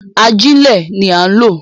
Agílẹ̀ ni a lọ̀